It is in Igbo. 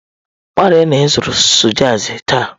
Gbalịa na ị zụrụ sausaji taa!